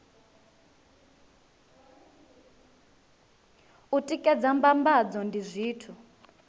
u tikedza mbambadzo ndi zwithu